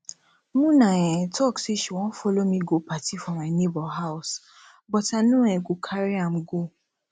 muna um talk say she wan follow me go party for my neighbour house but i no um carry am go